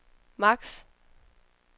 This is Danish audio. max